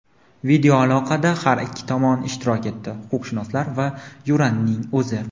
Videoaloqada har ikki tomon ishtirok etdi – huquqshunoslar va Yuranning o‘zi.